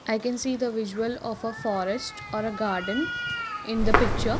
i can see the visual of a forest or a garden in the picture.